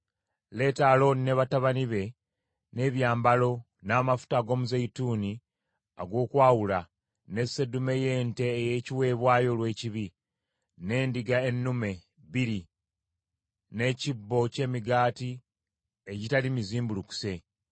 “Leeta Alooni ne batabani be, n’ebyambalo, n’amafuta ag’omuzeeyituuni ag’okwawula, ne seddume y’ente ey’ekiweebwayo olw’ekibi, n’endiga ennume bbiri, n’ekibbo ky’emigaati egitali mizimbulukuse;